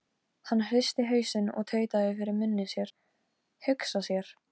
LÁRUS: Hvað þykist þér hafa afhent mér?